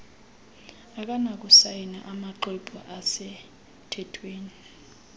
akanakusayina amaxhwebhu asemthethweni